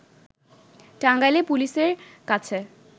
টাঙ্গাইলে পুলিশের কাছে